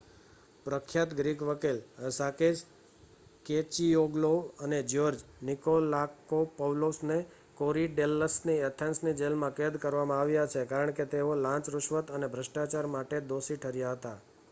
પ્રખ્યાત ગ્રીક વકીલો Sakis Kechagioglou અને જ્યોર્જ નિકોલાકોપૌલોસને કોરીડેલ્લસની એથેન્સની જેલમાં કેદ કરવામાં આવ્યા છે, કારણ કે તેઓ લાંચ: રુશવત અને ભ્રષ્ટાચાર માટે દોષી ઠર્યા હતા